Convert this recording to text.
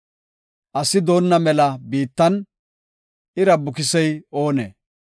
Asi doonna mela biittan ira bukisey oonee?